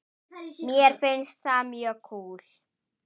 Mér finnst það mjög kúl.